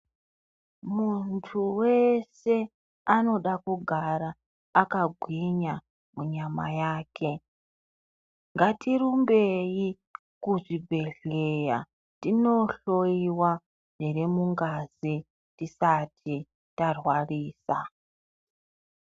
Muntu wese anoda kugara aka gwinya mu nyama yake ngati rumbeyi ku zvibhedhleya tino hloyiwa zviri mungazi tisati tarwarirwa.